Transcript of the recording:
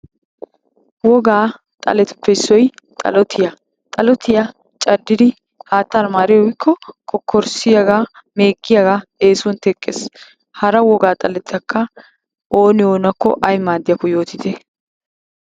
Wogaa xaletuppe issoy xalatiya. Xalotiya caddidi hattaara maari uyikko kokorsiyaagaa, meeggiyaagaa eesuwan teqqes. Hara wogaa xaletakka oona oonakko ayi maaddiyaakko yootite.